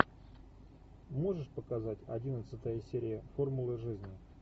можешь показать одиннадцатая серия формула жизни